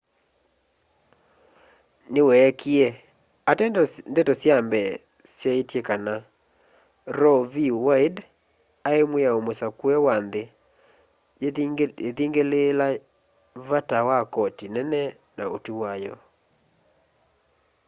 niweekie ateo ndeto sya mbee syaaite kana roe v wade ai mwiao musakue wa nthi yiithingiliila vata wa koti nene na utwi wayo